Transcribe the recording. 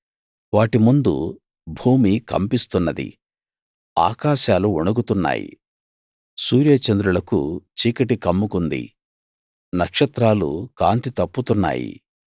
వాటి ముందు భూమి కంపిస్తున్నది ఆకాశాలు వణుకుతున్నాయి సూర్యచంద్రులకు చీకటి కమ్ముకుంది నక్షత్రాలు కాంతి తప్పుతున్నాయి